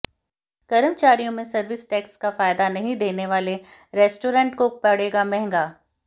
कर्मचारियों में service tax का फायदा नहीं देने वाले रेस्टोरेंट को पड़ेगा महंगा